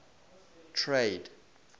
trade